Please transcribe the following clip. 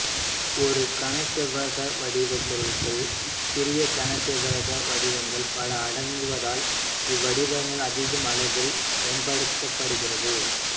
ஒரு கனசெவ்வக வடிவப் பொருளுக்குள் சிறிய கனசெவ்வக வடிவங்கள் பல அடங்குவதால் இவ்வடிவம் அதிக அளவில் பயன்படுத்தப்படுகிறது